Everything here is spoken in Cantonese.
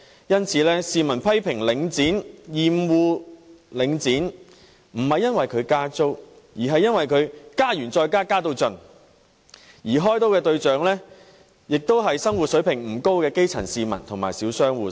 因此，市民批評領展、厭惡領展，不是因為它加租，而是因為它加了又加、加到盡，而開刀的對象便是生活水平不高的基層市民和小商戶。